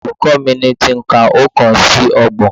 Olùkọ́ mi ní kí n ka oókan sí ọgbọ̀n